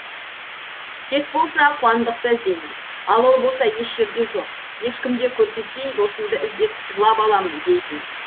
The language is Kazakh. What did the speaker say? кеш болса қуандықты іздеймін ал ол болса еш жерде жоқ ешкімге көрсетпей досымды іздеп жылап аламын дейтін